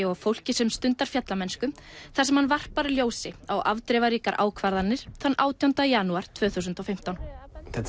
og fólki sem stundar fjallamennsku þar sem hann varpar ljósi á afdrifaríkar ákvarðanir þann átjánda janúar tvö þúsund og fimmtán þetta